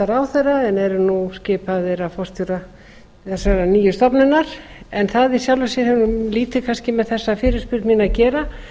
ráðherra en eru nú skipaðir af forstjóra þessarar nýju stofnunar það í sjálfu sér hefur lítið kannski með þessa fyrirspurn mína að gera